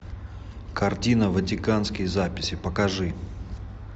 картина ватиканские записи покажи